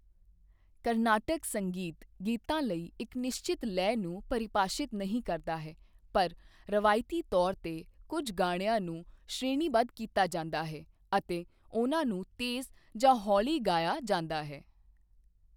ਕਰਨਾਟਕ ਸੰਗੀਤ ਗੀਤਾਂ ਲਈ ਇੱਕ ਨਿਸ਼ਚਿਤ ਲੈਅ ਨੂੰ ਪਰਿਭਾਸ਼ਿਤ ਨਹੀਂ ਕਰਦਾ ਹੈ ਪਰ ਰਵਾਇਤੀ ਤੌਰ 'ਤੇ ਕੁੱਝ ਗਾਣਿਆਂ ਨੂੰ ਸ਼੍ਰੇਣੀਬੱਧ ਕੀਤਾ ਜਾਂਦਾ ਹੈ ਅਤੇ ਉਨ੍ਹਾਂ ਨੂੰ ਤੇਜ਼ ਜਾਂ ਹੌਲੀ ਗਾਇਆ ਜਾਂਦਾ ਹੈ